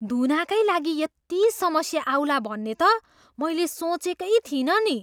धुनाकै लागि यति समस्या आउला भन्ने त मैले सोचेकै थिइनँ नि!